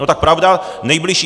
No tak pravda, nejbližší...